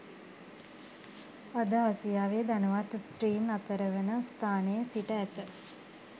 අද ආසියාවේ ධනවත් ස්ත්‍රීන් අතරවන ස්ථානයේ සිට ඇත